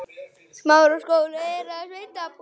Ferlið tók átta ár.